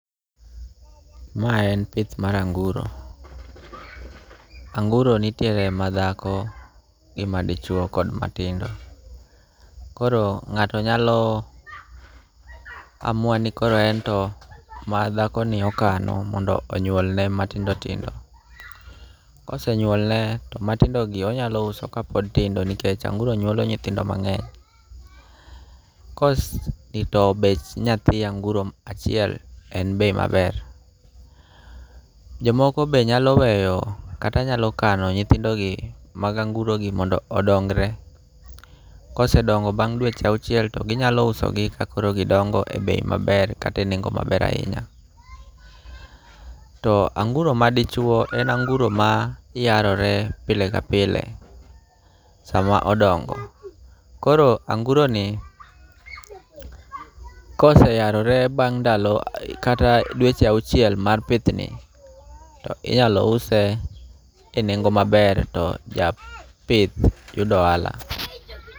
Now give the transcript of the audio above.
Ma en pith mar anguro. Anguro nitiere madhako gi madichwo kod matindo. Koro ng'ato nyalo amua ni koro ento madhako ni okano mondo onyuol ne matindo tindo. Kose nyuole ne to matindo tindo gi onyalo uso kapod tindo nikech anguro nyuolo nyithindo mang'eny. Bech nyathi anguro achiel en bei maber. Jomoko be nyalo weyo kata nyalo kano nyithindo gi mag anguro gi mondo odongre. Kosedongo bang' dweche auchiel to ginyalo uso gi kakoro gidongo e bei maber kata e nengo maber ahinya. To anguro ma dichuo en anguro ma yarore pile ka pile sama odongo. Koro anguro ni koseyarore bang' ndalo kata dweche auchiel mar pith ni to inyalo use e nengo maber to japith yudo ohala.